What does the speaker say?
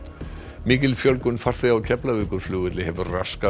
mikil fjölgun farþega á Keflavíkurflugvelli hefur raskað